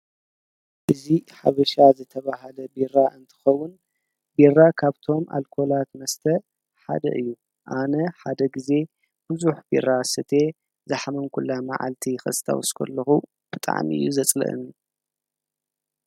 እዙ ሓብሻ ዘተብሃለ ቢራ እንትኸውን ቢራ ካብ ቶም ኣልኮላት መስተ ሓደ እዩ ኣነ ሓደ ጊዜ ብዙኅ ቢራ ሰተየ ዝሕመንኲላ መዓልቲ ኽስተ ወስኮለኹ ብጣዕሚ እዩ ዘጽልእኒ።